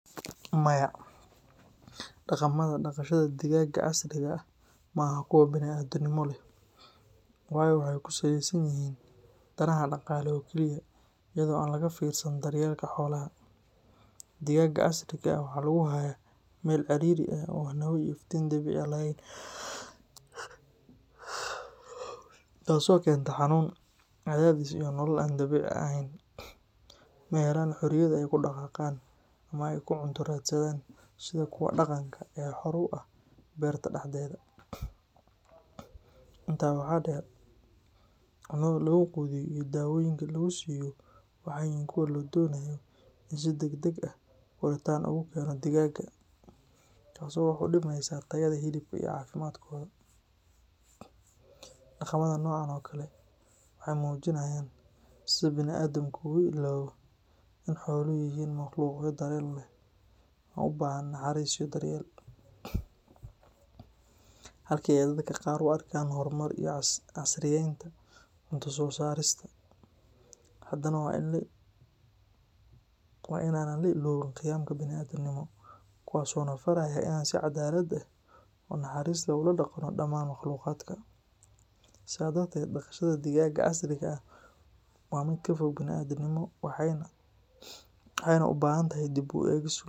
Maya, dhaqamada dhaqashada digaagga casriga ah ma aha kuwo bini’aadamnimo leh, waayo waxa ay ku saleysan yihiin danaha dhaqaale oo kaliya iyada oo aan laga fiirsan daryeelka xoolaha. Digaagga casriga ah waxaa lagu hayaa meel ciriiri ah oo aan hawo iyo iftiin dabiici ah lahayn, taasoo keenta xanuun, cadaadis, iyo nolol aan dabiici ahayn. Ma helaan xorriyad ay ku dhaqaaqaan ama ay ku cunto raadsadaan sida kuwa dhaqanka ah ee xor u ah beerta dhexdeeda. Intaa waxaa dheer, cunada lagu quudiyo iyo daawooyinka lagu siiyo waxay yihiin kuwo la doonayo in si degdeg ah koritaan ugu keeno digaagga, taasoo wax u dhimaysa tayada hilibka iyo caafimaadkooda. Dhaqamada noocan oo kale ah waxay muujinayaan sida bani’aadanku u illaawo in xooluhu yihiin makhluuqyo dareen leh oo u baahan naxariis iyo daryeel. Halka ay dadka qaar u arkaan horumar iyo casriyaynta cunto-soo-saarista, haddana waa in aan la iloobin qiyamka bini’aadantinimo, kuwaasoo na faraya in aan si cadaalad ah oo naxariis leh ula dhaqanno dhammaan makhluuqaadka. Sidaa darteed, dhaqashada digaagga casriga ah waa mid ka fog bini’aadamnimo waxayna u baahan tahay dib u eegis.